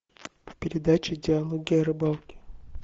передача диалоги о рыбалке